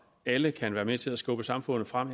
alle kan være med til at skubbe samfundet frem